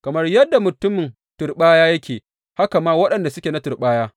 Kamar yadda mutumin turɓaya yake, haka ma waɗanda suke na turɓaya.